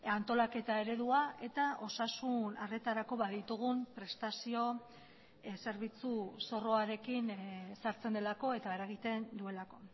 antolaketa eredua eta osasun arretarako baditugun prestazio zerbitzu zorroarekin sartzen delako eta eragiten duelako